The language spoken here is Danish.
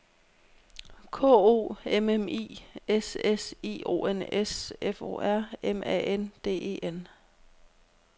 K O M M I S S I O N S F O R M A N D E N